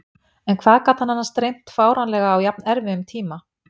En hvað hann gat annars dreymt fáránlega á jafnerfiðum tímum.